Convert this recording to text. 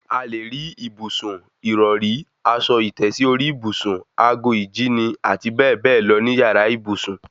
A lè rí ìbùsùn, ìrọrí, aṣọ ìtẹ́sí orí ìbùsùn, ago ìjíni, àti bẹ́ẹ̀ bẹ́ẹ̀ lọ ní yàrá ìbùsùn